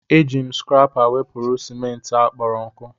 Eji m skrepa wepụrụ ciment a kporo nku.